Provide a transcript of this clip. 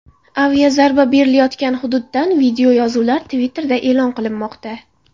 Aviazarba berilayotgan hududdan videoyozuvlar Twitter’da e’lon qilinmoqda.